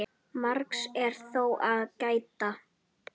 Margs er þó að gæta.